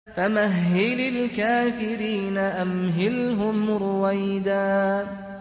فَمَهِّلِ الْكَافِرِينَ أَمْهِلْهُمْ رُوَيْدًا